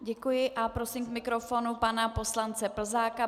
Děkuji a prosím k mikrofonu pana poslance Plzáka.